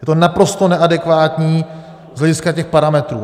Je to naprosto neadekvátní z hlediska těch parametrů.